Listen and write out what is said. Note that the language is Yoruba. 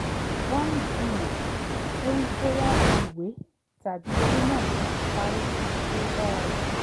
wọ́n jiyàn lórí bóyá ìwé tàbí eré náà ló parí síbi tó dára jù lọ